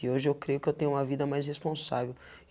E hoje eu creio que eu tenho uma vida mais responsável.